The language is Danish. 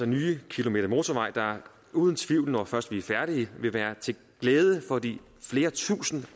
nye kilometer motorvej der uden tvivl når først vi er færdige vil være til glæde for de flere tusinde